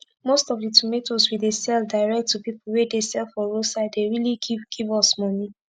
most of the tomatoes we dey sell direct to pipu wey dey sell for roadside dey really give give us moni